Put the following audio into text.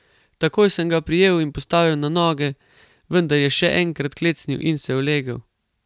Takoj sem ga prijel in postavil na noge, vendar je še enkrat klecnil in se ulegel.